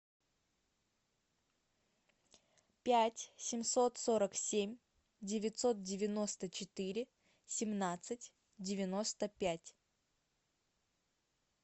пять семьсот сорок семь девятьсот девяносто четыре семнадцать девяносто пять